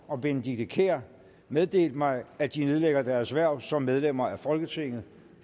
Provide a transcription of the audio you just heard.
og benedikte kiær meddelt mig at de nedlægger deres hverv som medlemmer af folketinget